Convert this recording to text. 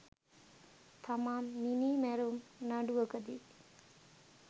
තමයි මිනීමැරුම් නඩුවකදී